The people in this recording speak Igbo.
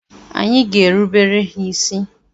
Anyị ga-erubere ha isi.